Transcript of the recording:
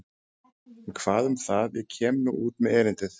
En hvað um það og kem ég nú út með erindið.